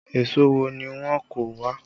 Èso wo ni wọ́n kó wá?